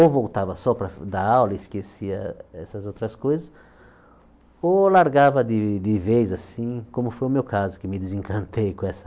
Ou voltava só para dar aula e esquecia essas outras coisas, ou largava de de vez assim, como foi o meu caso, que me desencantei com essa